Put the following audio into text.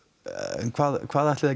en hvað hvað ætlið þið